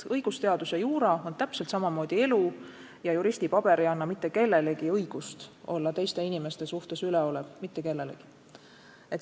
Õigusteadus, juura on täpselt samamoodi elu ja juristipaber ei anna mitte kellelegi õigust olla teiste inimeste suhtes üleolev – mitte kellelegi!